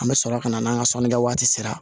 An bɛ sɔrɔ ka na n'an ka sɔnnikɛ waati sera